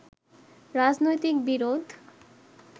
রাজনৈতিক বিরোধ